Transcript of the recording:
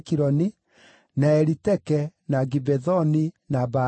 na Eliteke, na Gibethoni, na Baalathu,